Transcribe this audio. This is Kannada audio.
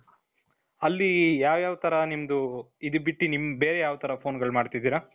ಅಲ್ಲಿ ಯಾವ್ ಯಾವ್ ತರ ನಿಮ್ದು ಇದನ್ನ ಬಿಟ್ಟಿ ನಿಮ್ ಬೇರೆ ಯಾವ್ ತರ phoneಗಳು ಮಾಡ್ತಾ ಇದ್ದೀರ ?